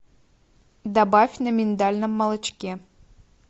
добавь на миндальном молочке